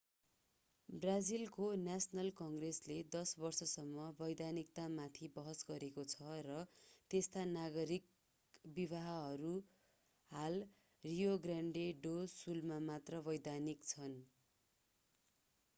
ब्राजिलको नेशनल कङ्ग्रेसले 10 वर्षसम्म वैधानिकतामाथि बहस गरेको छ र त्यस्ता नागरिक विवाहहरू हाल रियो ग्रान्डे डो सुलमा मात्र वैधानिक छन्